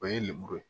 O ye lemuru ye